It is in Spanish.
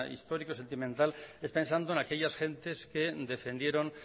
histórico sentimental es pensando en aquellas gentes que defendieron